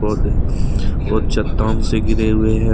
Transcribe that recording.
बहुत चट्टान से घिरे हुए हैं।